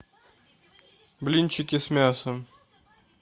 блинчики с мясом